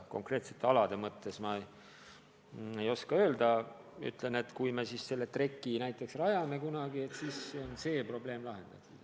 Konkreetsete alade kohta ma ei oska öelda, aga nii palju ütlen, et kui me selle treki kunagi rajame, siis on see probleem lahendatud.